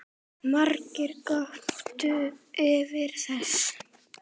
Margir göptu yfir þessu